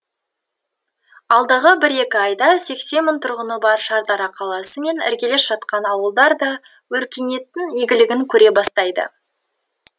алдағы бір екі айда сексен мың тұрғыны бар шардара қаласы мен іргелес жатқан ауылдар да өркениеттің игілігін көре бастайды